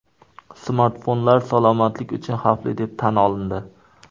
Smartfonlar salomatlik uchun xavfli deb tan olindi.